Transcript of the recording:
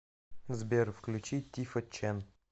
сбер включи тифа чен